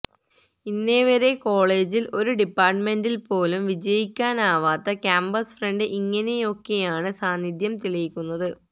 ഇന്നേ വരെ കോളേജിൽ ഒരു ഡിപ്പാർട്ടമെന്റിൽപോലും വിജയിക്കാനാവാത്ത ക്യാംപസ് ഫ്രണ്ട് ഇങ്ങനെയൊക്കെയാണ് സാന്നിധ്യം തെളിയിക്കുന്നത്